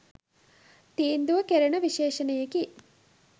තීන්දු කෙරෙන විශේෂණයකි.